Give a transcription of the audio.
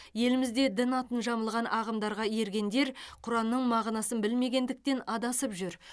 елімізде дін атын жамылған ағымдарға ергендер құранның мағынасын білмегендіктен адасып жүр